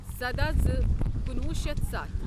سَدہ زٕ کنُوہُ شیتھ ستھَ